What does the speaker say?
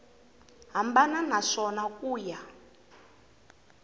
hambana ka swona ku ya